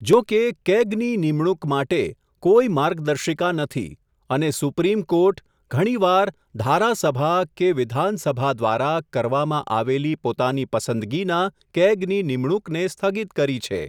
જોકે કેગની નિમણુંક માટે, કોઇ માર્ગદર્શિકા નથી, અને સુપ્રીમ કોર્ટ, ઘણીવાર ધારાસભા કે, વિધાનસભા દ્વારા, કરવામાં આવેલી પોતાની પસંદગીના, કેગની નિમણુંકને સ્થગિત કરી છે.